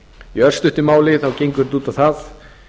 í örstuttu máli gengur þetta út á það